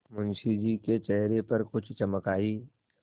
मुंशी जी के चेहरे पर कुछ चमक आई